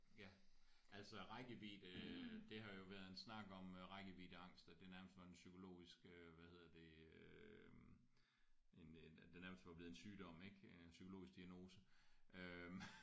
Ja altså rækkevidde øh det har jo været en snak om rækkeviddeangst at det nærmest var en psykologisk øh hvad hedder det øh en en at det nærmest var blevet en sygdom ik en psykologisk diagnose øh